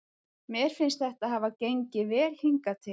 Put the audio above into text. Mér finnst þetta hafa gengið vel hingað til.